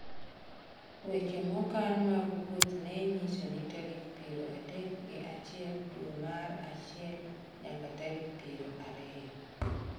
weche mokan mag wuoth ne nyiso ni tarik piero adek gi achiel dwe mar achiel nyaka tarik piero ariyo